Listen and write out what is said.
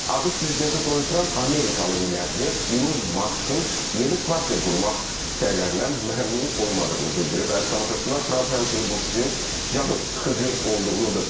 ABŞ prezidenti Donald Tramp amerikalı milyarder Elon Muskın yeni partiya qurmaq səylərindən məmnun olmadığını bildirib və əziz tamaşaçılar, Tramp həmçinin bu fikrin cansıxıcı olduğunu da bildirib.